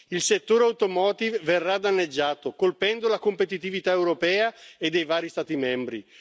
Il settore automotive verrà danneggiato, colpendo la competitività europea e dei vari Stati membri.